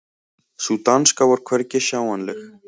Sú danska var hvergi sjáanleg.